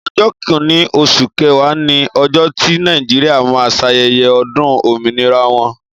ọjọ kínní oṣù kẹwa ni ọjọ ti nejiria ma sayeye odun ominira wọn